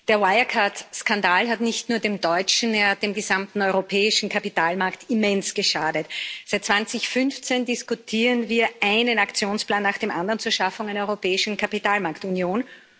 Der Wirecard Skandal hat nicht nur dem deutschen, er hat dem gesamten europäischen Kapitalmarkt immens geschadet. Seit 2015 diskutieren wir einen Aktionsplan nach dem anderen zur Schaffung einer europäischen Kapitalmarktunion.